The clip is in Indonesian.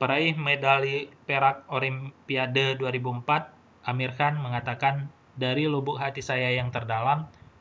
peraih medali perak olimpiade 2004 amir khan mengatakan dari lubuk hati saya yang terdalam